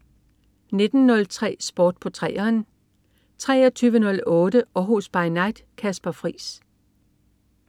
19.03 Sport på 3'eren 23.08 Århus By Night. Kasper Friis